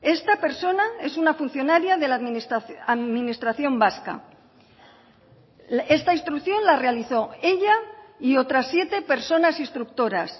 esta persona es una funcionaria de la administración vasca esta instrucción la realizó ella y otras siete personas instructoras